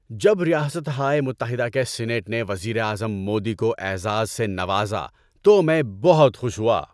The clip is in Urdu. جب ریاستہائے متحدہ کے سینیٹ نے وزیر اعظم مودی کو اعزاز سے نوازا تو میں بہت خوش ہوا۔